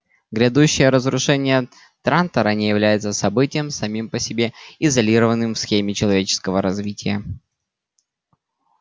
грядущее разрушение трантора не является событием самим по себе изолированным в схеме человеческого развития